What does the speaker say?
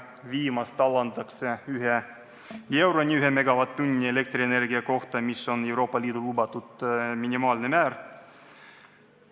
Viimast alandatakse 1 euroni 1 megavatt-tunni eest, mis on Euroopa Liidu lubatud minimaalne määr.